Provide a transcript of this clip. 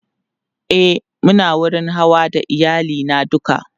e Muna wurin Hawa da iyali na duka